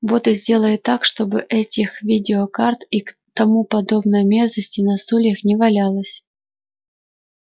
вот и сделай так чтобы этих видеокарт и тому подобной мерзости на стульях не валялось